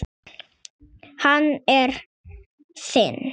Hann er þinn.